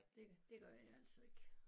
Det det gør jeg altså ikke